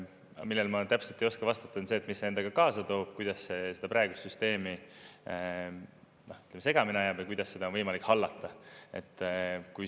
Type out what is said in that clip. Millele ma täpselt ei oska vastata, on see, et mis see endaga kaasa toob, kuidas see praeguse süsteemi segamini ajab jääb ja kuidas seda on võimalik hallata.